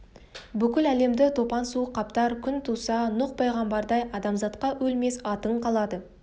бүкіл әлемді топан су қаптар күн туса нұқ пайғамбардай адамзатқа өлмес атың қалады